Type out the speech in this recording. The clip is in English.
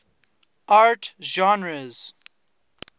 art genres